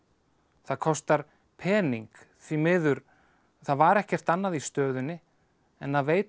það kostar pening því miður það var ekkert annað í stöðunni en að veita